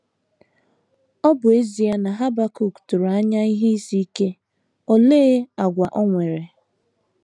Ọ bụ ezie na Habakuk tụrụ anya ihe isi ike, olee àgwà o nwere?